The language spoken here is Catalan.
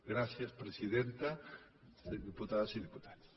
gràcies presidenta diputades i diputats